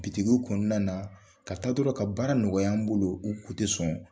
Bitigiw kɔnɔna na ka taa dɔrɔn ka baara nɔgɔya an bolo. U kun tɛ sɔn.